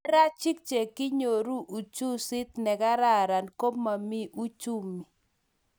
nerarajik che kinyoru uchusit ne kararan ko mo komii uchumi